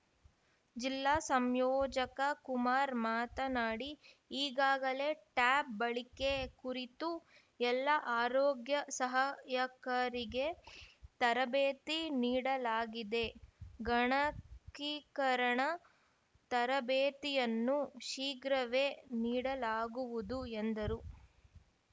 ಜಿಲ್ಲಾ ಸಂಯೋಜಕ ಕುಮಾರ್‌ ಮಾತನಾಡಿ ಈಗಾಗಲೇ ಟ್ಯಾಬ್‌ ಬಳಕೆ ಕುರಿತು ಎಲ್ಲ ಆರೋಗ್ಯ ಸಹಾಯಕರಿಗೆ ತರಬೇತಿ ನೀಡಲಾಗಿದೆ ಗಣಕೀಕರಣ ತರಬೇತಿಯನ್ನು ಶೀಘ್ರವೇ ನೀಡಲಾಗುವುದು ಎಂದರು